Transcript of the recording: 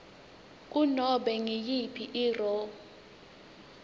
kunobe nguyiphi irro